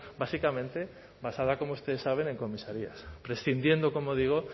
básicamente basada como ustedes saben en comisarías prescindiendo como digo